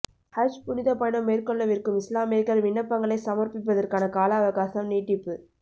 ஹஜ் புனிதப் பயணம் மேற்கொள்ளவிருக்கும் இஸ்லாமியர்கள் விண்ணப்பங்களை சமர்ப்பிப்பதற்கான கால அவகாசம் நீட்டிப்பு